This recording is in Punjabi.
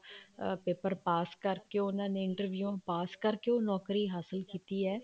paper ਪਾਸ ਕਰਕੇ ਉਹਨਾ ਨੇ interview ਪਾਸ ਕਰਕੇ ਉਹ ਨੋਕਰੀ ਹਾਸਲ ਕੀਤੀ ਹੈ